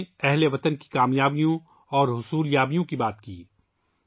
ہم نے ہم وطنوں کی کامیابیوں اور حصول یابیوں پر تبادلہ خیال کیا